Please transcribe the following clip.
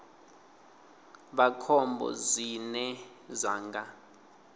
vha khombo zwine zwa nga